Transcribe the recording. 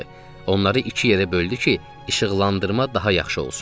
Onları iki yerə böldü ki, işıqlandırma daha yaxşı olsun.